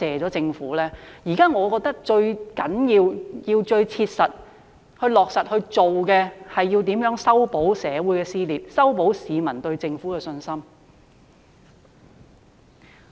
我認為現時最重要及最須切實地做的事情，是修補社會撕裂，修補市民對政府的信心。